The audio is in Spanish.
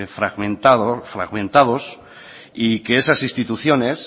fragmentados y que esas instituciones